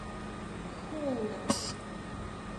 кхулна